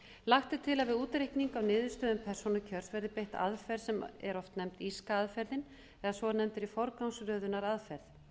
lagt er til að við útreikning á niðurstöðum persónukjörs verði beitt aðferð sem er oft nefnd írska aðferðin eða svonefnd forgangsröðunaraðferð